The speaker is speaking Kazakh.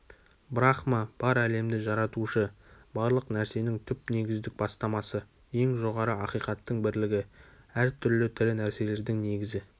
брахма бар әлемді жаратушы барлық нәрсенің түп негіздік бастамасы ең жоғары ақиқаттың бірлігі әр түрлі тірі нәрселердің негізі